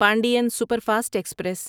Pandian superfast express